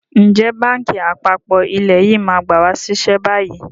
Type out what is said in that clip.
Ǹjẹ́ báńkì àpapọ̀ ilẹ̀ yìí máa gba wa ṣiṣẹ́ bayyi?